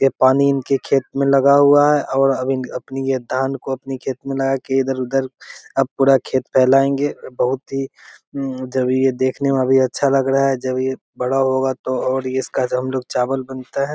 ये पानी इनके खेत में लगा हुआ है और अब अपनी ये धान को अपनी खेत में लगा के इधर-उधर अब पूरा खेत फेलाऐंगे बहुत ही जब ये देखने भी अच्छा लग रहा है। जब ये बड़ा होगा तो और ये इसका जो हमलोग चावल बनते है।